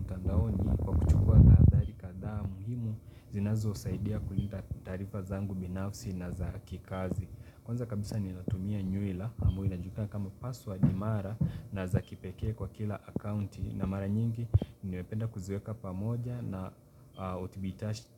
Mtandaoni kwa kuchukua tahadhari kadhaa muhimu zinazo saidia kulinda taarifa zangu binafsi na za kikazi Kwanza kabisa ninatumia nywila ambao inajulikana kama password imara na za kipekee kwa kila akaunti na mara nyingi nimependa kuziweka pamoja na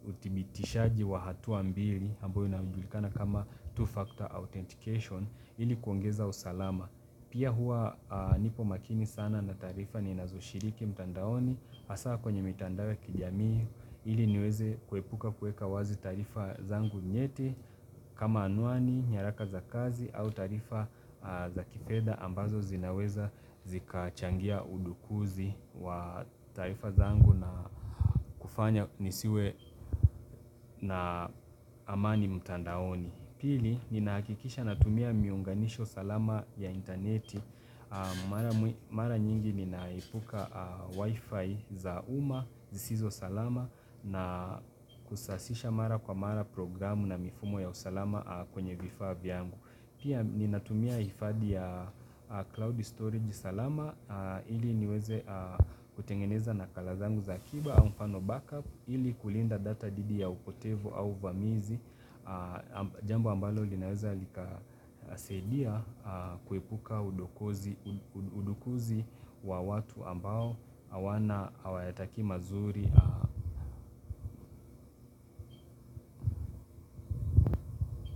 utibitishaji wa hatua mbili ambao inajulikana kama two-factor authentication ili kuongeza usalama Pia hua nipo makini sana na taarifa ninazoshiriki mtandaoni hasaa kwenye mitandao ya kijamii ili niweze kuepuka kuweka wazi tarifa zangu nyeti kama anuani nyaraka za kazi au taarifa za kifedha ambazo zinaweza zikachangia udukuzi wa taarifa zangu na kufanya nisiwe na amani mutandaoni Pili, ninahakikisha natumia miunganisho salama ya interneti Mara nyingi ninaipuka wifi za uma, zisizo salama na kusasisha mara kwa mara programu na mifumo ya usalama kwenye vifaa vyangu. Pia, ninatumia ifadhi ya cloud storage salama ili niweze kutengeneza nakala zangu za akiba au mfano backup, ili kulinda data didi ya upotevo au vamizi Jambu ambalo linaweza likasaidia kuepuka udukuzi wa watu ambao awana hawayatakii mazuri.